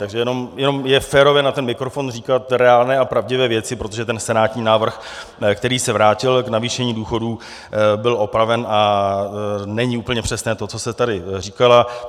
Takže jenom je férové na ten mikrofon říkat reálné a pravdivé věci, protože ten senátní návrh, který se vrátil k navýšení důchodů, byl opraven a není úplně přesné to, co jste tady říkala.